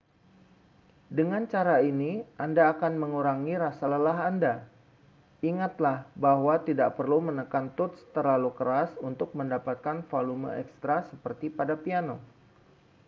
dengan cara ini anda akan mengurangi rasa lelah anda ingatlah bahwa tidak perlu menekan tuts terlalu keras untuk mendapatkan volume ekstra seperti pada piano